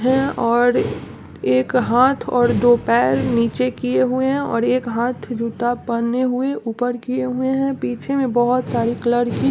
है और एक हाथ और दो पैर निचे किये हुए है और एक हाथ जूता पहने हुए ऊपर किये हुए है पीछे में बहुत सारी कलर की।